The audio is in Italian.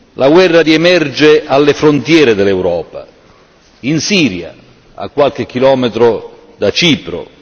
La guerra riemerge alle frontiere dell'Europa in Siria, a qualche chilometro da Cipro